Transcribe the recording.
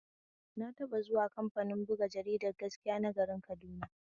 Na taɓa zuwa kamfanin buga jaridar gaskiya na garin Kaduna.